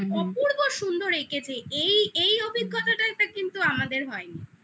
অপূর্ব সুন্দর এঁকেছে এই এই অভিজ্ঞতাটা কিন্তু আমাদের হয়নি.